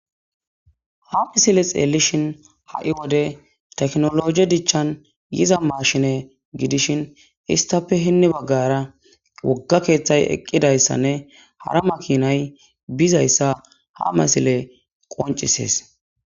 ha misile xeelishin ha7i wode teknologe dichchan yiza maashine gidishin istape hinni baggara wogga keeththay eqqidayssanne hara makinay bizayssa ha masile qoncisees